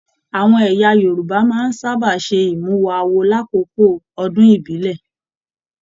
Àwọn ẹyà Yorùbá máa n sábà se imuwọ̀ awo l'akoko ọdún ibilẹ.